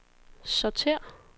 sortér